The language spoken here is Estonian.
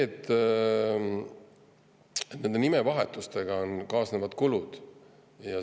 Nende nimevahetustega kaasnevad kulud.